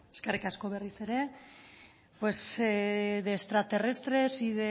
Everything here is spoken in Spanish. beno eskerrik asko berriz ere pues de extraterrestres y